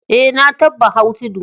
Eh, na tabba hau tudu.